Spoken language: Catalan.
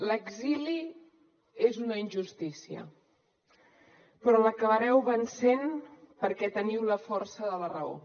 l’exili és una injustícia però l’acabareu vencent perquè teniu la força de la raó